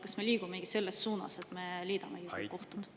Kas me liigumegi selles suunas, et me liidame kohtud?